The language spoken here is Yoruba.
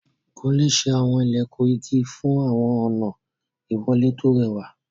Kúnlé ṣe àwọn ilẹ̀kùn igi fún àwọn ọ̀nà ìwọlé tó rẹwà.